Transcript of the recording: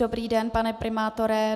Dobrý den, pane primátore.